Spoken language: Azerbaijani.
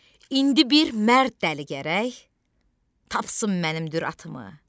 İndi bir mərd dəli gərək tapsın mənim düratımı.